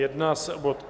Jedná se o bod